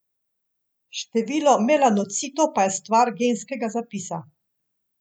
Število melanocitov pa je stvar genskega zapisa.